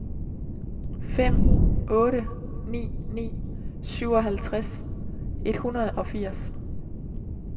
fem otte ni ni syvoghalvtreds et hundrede og firs